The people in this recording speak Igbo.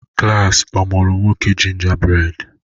Klas a mụọrọ 'Nwoke Gingerbread'